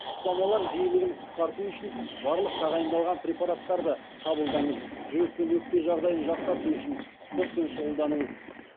ұстамалар жиілігін қысқарту үшін барлық тағайындалған препараттарды қабылдаңыз жүрек пен өкпе жағдайын жақсарту үшін спортпен шұғылданыңыз